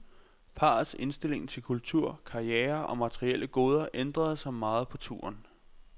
Parrets indstilling til kultur, karriere og materielle goder ændrede sig meget på turen.